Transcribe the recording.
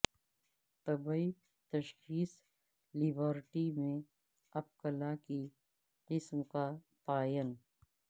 طبی تشخیصی لیبارٹری میں اپکلا کی قسم کا تعین